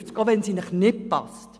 auch wenn sie Ihnen nicht passt.